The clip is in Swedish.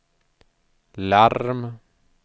larm